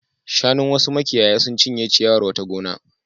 Shanun wasu makiyaya sun cinye ciyawar wata gona.